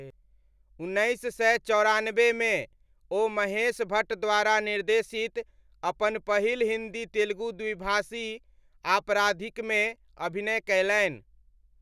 उन्नैस सय चौरानबेमे, ओ महेश भट्ट द्वारा निर्देशित अपन पहिल हिन्दी तेलुगु द्विभाषी आपराधिकमे अभिनय कयलनि।